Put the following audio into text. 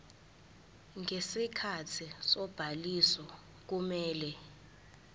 ngesikhathi sobhaliso kumele